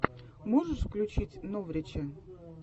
можешь включить новрича